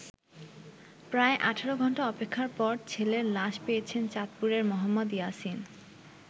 প্রায় ১৮ ঘন্টা অপেক্ষার পর ছেলের লাশ পেয়েছেন চাঁদপুরের মোহাম্মদ ইয়াসিন।